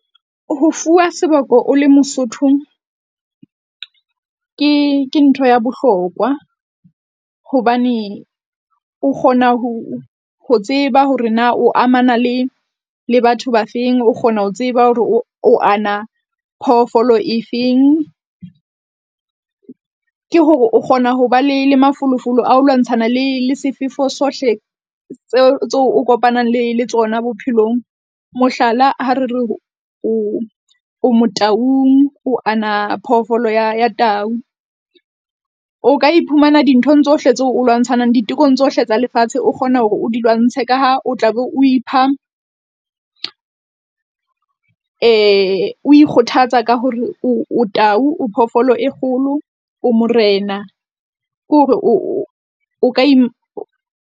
Ho fuwa seboko o le mosotho, ke ke ntho ya bohlokwa. Hobane o kgona ho ho tseba hore na o amana le le batho ba feng o kgona ho tseba hore o, o ana phoofolo efeng. Ke hore o kgona ho ba le le mafolofolo ao lwantshana le le sefefo sohle tseo, tseo o kopanang le le tsona bophelong. Mohlala, ha re re o, o Motaung o ana phoofolo ya ya tau, o ka iphumana dinthong tsohle tseo o lwantshanang ditekong tsohle tsa lefatshe. O kgone hore o di lwantshe ka ha o tla be o ipha o ikgothatsa ka hore o tau, o phoofolo e kgolo. O morena ke hore o o ka .